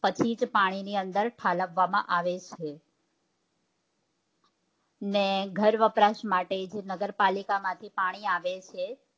પછી જ પાણી ની અંદર ઠાલવવા માં આવે છે ને ઘરવપરાશ માટે જે નગરપાલિકા માંથી પાણી આવે છે